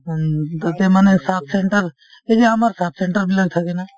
উম, তাতে মানে subcentre সেই যে আমাৰ subcentre বিলাক থাকে না